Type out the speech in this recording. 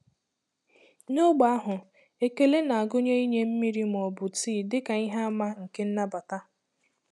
N'ógbè ahụ, ekele na-agụnye inye mmiri ma ọ bụ tii dị ka ihe àmà nke nnabata.